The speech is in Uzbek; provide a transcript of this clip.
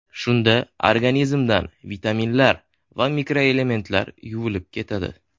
Shunda organizmdan vitaminlar va mikroelementlar yuvilib ketadi.